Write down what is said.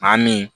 Maa min